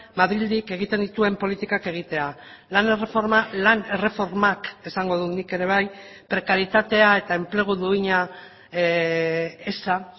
madrildik egiten dituen politikak egitea lan erreforma lan erreformak esango dut nik ere bai prekaritatea eta enplegu duina eza